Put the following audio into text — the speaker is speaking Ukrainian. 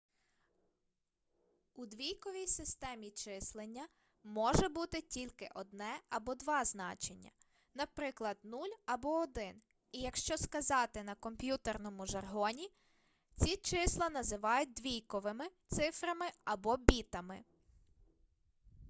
у двійковій системі числення може бути тільки одне або два значення наприклад 0 або 1 і якщо сказати на комп'ютерному жаргоні ці числа називають двійковми цифрами або бітами